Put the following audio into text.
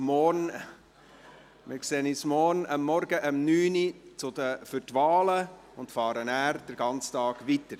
Wir sehen uns morgen Vormittag um 9 Uhr für die Wahlen und fahren danach den ganzen Tag weiter.